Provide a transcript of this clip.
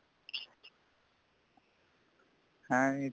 ਇਹ ਇੱਥੇ